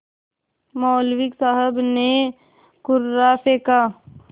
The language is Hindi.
मौलवी साहब ने कुर्रा फेंका